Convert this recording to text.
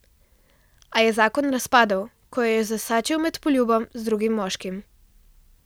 A je zakon razpadel, ko jo je zasačil med poljubom z drugim moškim.